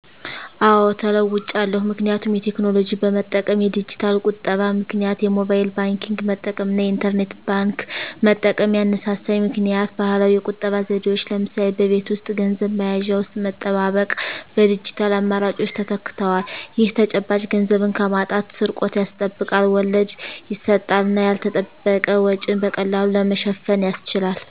አዎ ተለዉጫለሁ ምክንያቱም የቴክኖሎጂ በመጠቀም (የዲጂታል ቁጠባ) -ምክንያት የሞባይል ባንክንግ መጠቀም እና የኢንተርኔት ባንክ መጠቀም። ያነሳሳኝ ምክኒያት ባህላዊ የቁጠባ ዘዴዎች (ለምሳሌ በቤት ውስጥ ገንዘብ መያዣ ውስጥ መጠባበቅ) በዲጂታል አማራጮች ተተክተዋል። ይህ ተጨባጭ ገንዘብን ከማጣት/ስርቆት ያስጠብቃል፣ ወለድ ይሰጣል እና ያልተጠበቀ ወጪን በቀላሉ ለመሸፈን ያስችላል።